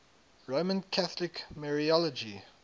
roman catholic mariology